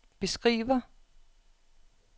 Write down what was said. beskriver